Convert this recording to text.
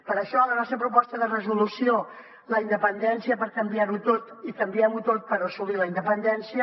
per això la nostra proposta de resolució la independència per canviar ho tot i canviem ho tot per assolir la independència